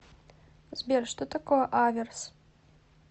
сбер что такое аверс